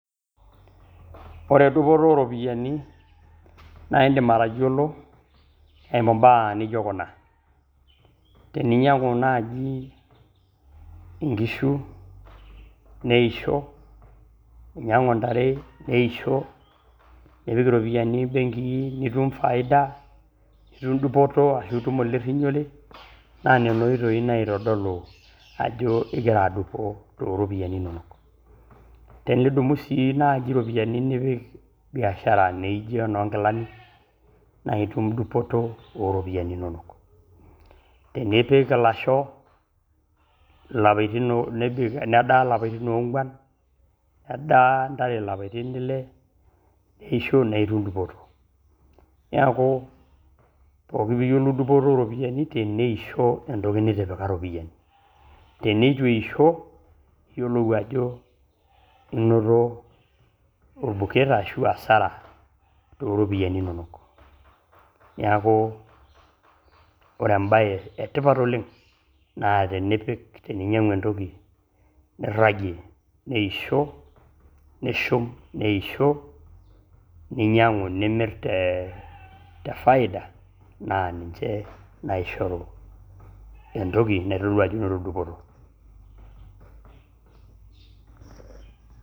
Ore dupoto ooropiyiani naa indim atoyolo eimu imbaa nijo kuna, tininyang'u enaaji inkishu neisho, inyang'u intare neisho, nipik iropiyiani benkii nitum faida nitum dupoto ashu itum olirinyore naa nelo oitoi naitodolu ajo igira adupo too iropiyiani inonok ,tinidumu sii naaji iropiyiani nipik biashara naaijo noo inkilani naa itum dupoto ooropiyiani inonok ,tenipik ilashoo nedaa lapatin oongwan, nedaa intare lapatin ile neisho naa itum dupoto naalku pooki piyiolou dupoto ooropiyiani teneisho entoki nitipika ropiyianu, tenetu eisho niyolou ajo inoto orbuket ashu hasara too iropiyiani inonok ,neaku ore embaye etipat naa tinipik tininyang'u entoki niragie neisho, nishum neisho, ninyang'u nimir te faida naa ninche naishoru entoki naitodolu ajo inoto dupoto.